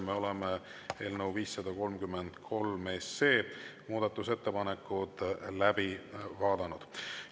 Me oleme eelnõu 533 muudatusettepanekud läbi vaadanud.